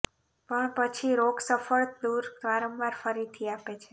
પણ પછી રોગ સફળ દૂર વારંવાર ફરીથી આપે છે